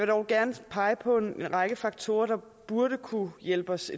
dog gerne pege på en række faktorer der burde kunne hjælpe os